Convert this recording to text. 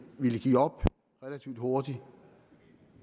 ville give op relativt hurtigt